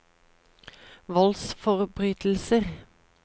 voldsforbrytelser